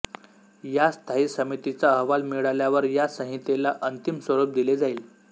या स्थायी समितीचा अहवाल मिळाल्यावर या संहितेला अंतिम स्वरूप दिले जाईल